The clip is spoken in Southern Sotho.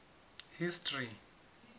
history